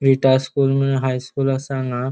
Rita school म्हूण high school असा हांगा.